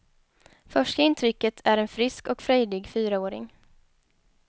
Första intrycket är en frisk och frejdig fyraåring.